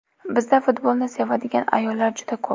Bizda futbolni sevadigan ayollar juda ko‘p.